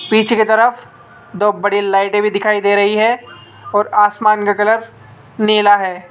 पीछे की तरफ दो बड़ी लाइटे भी दिखाई दे रही है और आसमान का कलर नीला है।